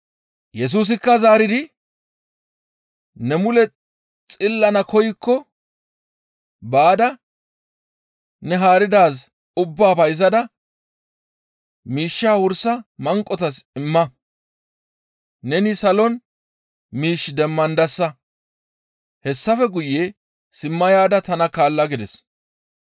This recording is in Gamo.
Yesusikka zaaridi, «Ne mule xillana koykko baada ne haaridaaz ubbaa bayzada miishshaa wursa manqotas imma; neni salon miish demmandasa; hessafe guye simma yaada tana kaalla» gides.